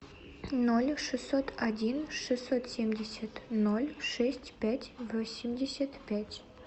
ноль шестьсот один шестьсот семьдесят ноль шесть пять восемьдесят пять